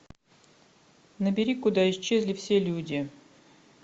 набери куда исчезли все люди